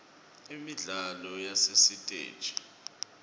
imidlalo yasesitegi